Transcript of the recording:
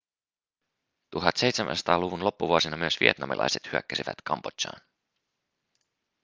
1700-luvun loppuvuosina myös vietnamilaiset hyökkäsivät kambodžaan